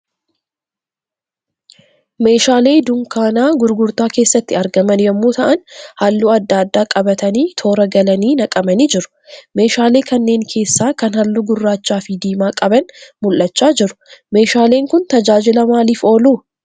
Meeshaalee dunkaana gurgurtaa keessatti argaman yemmuu ta'aan halluu adda addaa qabatanii toora galanii naqamanii jiru. Meeshaalee kanneen keessaa kan halluu gurraachaa fi diimaa qaban mul'achaa jiru. Meeshaaleen kun tajaajila maaliif oolu?